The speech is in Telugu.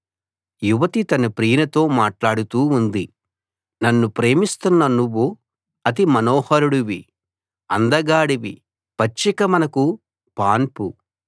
యువతి తన ప్రియునితో మాట్లాడుతూ ఉంది నన్ను ప్రేమిస్తున్న నువ్వు అతిమనోహరుడివి అందగాడివి పచ్చిక మనకు పాన్పు